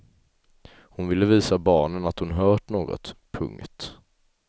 Hon ville visa barnen att hon hört något. punkt